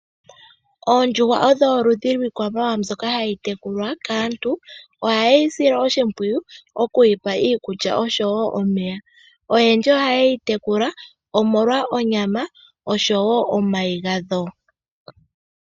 Oondjuhwa odho oludhi lwiikwamawa mbyoka hayi tekulwa kaantu ohaye yi sile oshimpwiyu okuyi pa iikulya oshowo omeya. Oyendji ohayeyi tekula omolwa onyama oshowo omayi gadho.